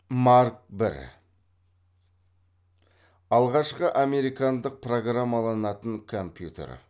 марк бір алғашқы американдық программаланатын компьютер